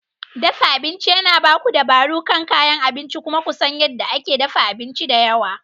Dafa abinci yana ba ku dabaro kan kayan abinci kuma ku san yadda ake dafa abinci da yawa.